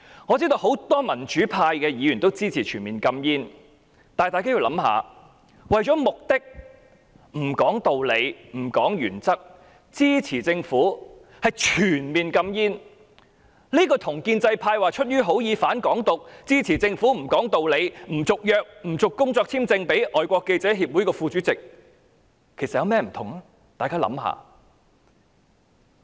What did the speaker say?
我知道很多民主派議員均支持全面禁煙，但大家要想一想，為了目的而不談道理和原則，支持政府全面禁煙，這與建制派聲稱出於好意而"反港獨"，支持政府不講理地不批出工作簽證予香港外國記者會的副主席，究竟有何不同？